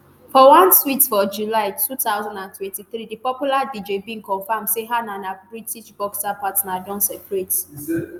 for one tweet for july two thousand and twenty-three di popular dj bin confam say her and her british boxer partner don separate